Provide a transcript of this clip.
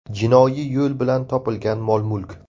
Jinoiy yo‘l bilan topilgan mol-mulk?